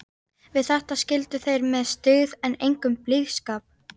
Við þetta skildu þeir með styggð en engum blíðskap.